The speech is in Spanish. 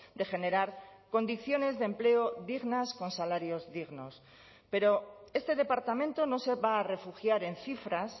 de generar condiciones de empleo dignas con salarios dignos pero este departamento no se va a refugiar en cifras